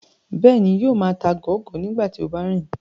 Bẹ́ẹ̀ni, yóò máa ta gọọgọ nígbà tí ó bá ń rìn